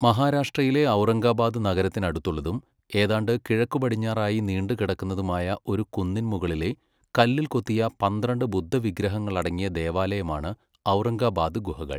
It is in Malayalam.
മഹാരാഷ്ട്രയിലെ ഔറംഗബാദ് നഗരത്തിനടുത്തുള്ളതും ഏതാണ്ട് കിഴക്കുപടിഞ്ഞാറായി നീണ്ടുകിടക്കുന്നതുമായ ഒരു കുന്നിൻമുകളിലെ, കല്ലിൽക്കൊത്തിയ പന്ത്രണ്ട് ബുദ്ധവിഗ്രഹങ്ങളടങ്ങിയ ദേവാലയമാണ് ഔറംഗബാദ് ഗുഹകൾ.